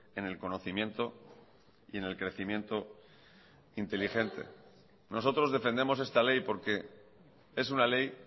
en el conocimiento y en el crecimiento inteligente nosotros defendemos esta ley porque es una ley